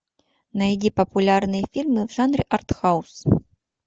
найди популярные фильмы в жанре артхаус